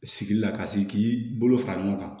Sigili la ka sigi k'i bolo fara ɲɔgɔn kan